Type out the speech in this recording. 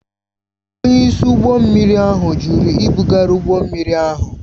Onyeisi ụgbọ mmiri ahụ jụrụ ibugharị ụgbọ mmiri ahụ